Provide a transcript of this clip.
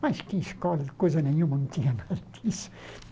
Mas que escola, coisa nenhuma, não tinha nada disso.